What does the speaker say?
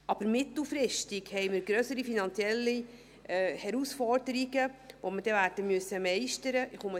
Aber mittelfristig haben wir grössere finanzielle Herausforderungen, die wir werden meistern müssen.